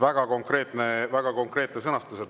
" Väga konkreetne sõnastus.